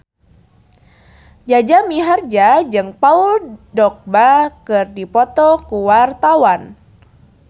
Jaja Mihardja jeung Paul Dogba keur dipoto ku wartawan